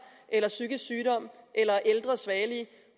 eller psykisk sygdom eller ældre svagelige